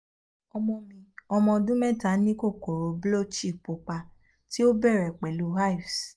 ọmọ mi ọmọ ọdun mẹta ni kokoro blotchy pupa ti o bẹrẹ pẹlu hives